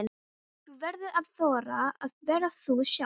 Þú verður að þora að vera þú sjálf.